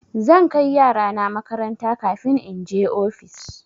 Zan kai yarana makaranta kafin in je ofis.